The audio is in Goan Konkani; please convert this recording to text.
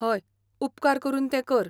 हय, उपकार करून तें कर.